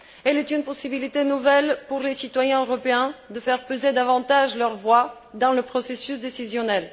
Elle est une possibilité nouvelle pour les citoyens européens de faire peser davantage leur voix dans le processus décisionnel.